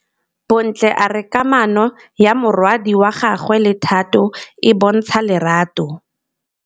Bontle a re kamanô ya morwadi wa gagwe le Thato e bontsha lerato.